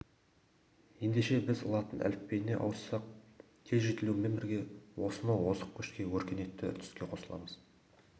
ендеше біз латын әліпбиіне ауыссақ тез жетілумен бірге осынау озық көшке өркениетті үрдіске қосыламыз